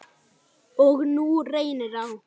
Og nú reynir á.